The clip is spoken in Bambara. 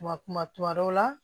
Kuma kuma tuma dɔw la